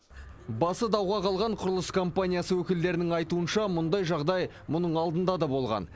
басы дауға қалған құрылыс компаниясы өкілдерінің айтуынша мұндай жағдай мұның алдында да болған